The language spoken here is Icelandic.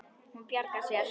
Hún bjargar sér.